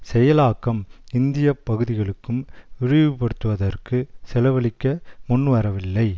செயலாக்கம் இந்திய பகுதிகளுக்கும் விரிவுபடுத்துவற்குச் செலவழிக்க முன்வரவில்லை